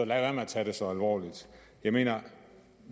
være med at tage det så alvorligt jeg mener